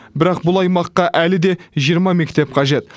бірақ бұл аймаққа әлі де жиырма мектеп қажет